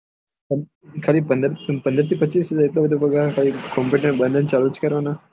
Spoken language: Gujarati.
ખાલી પંદર થી પચીસ હાજર આટલું એટલું બધું પગાર ખાલી કોમ્પુટર બંદ અને ચાલુ જ કરવાના